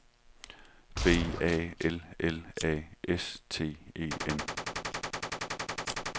B A L L A S T E N